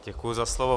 Děkuji za slovo.